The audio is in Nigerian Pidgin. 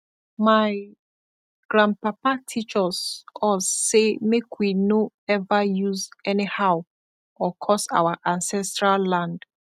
my grandpapa teach us us say make we no ever use anyhow or curse our ancestral land